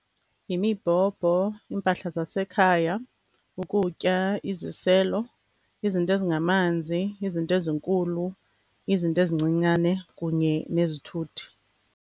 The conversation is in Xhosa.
Yimibhobho, iimpahla zasekhaya, ukutya, iziselo, izinto ezingamanzi, izinto ezinkulu, izinto ezincinane kunye nezithuthi.